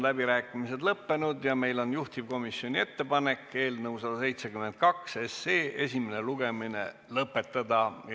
Läbirääkimised on lõppenud ja meil on juhtivkomisjoni ettepanek eelnõu 172 esimene lugemine lõpetada.